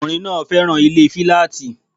Ọkùnrin náà féràn ilé filaati